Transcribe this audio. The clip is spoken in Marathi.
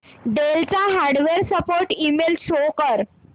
डेल चा हार्डवेअर सपोर्ट ईमेल शो कर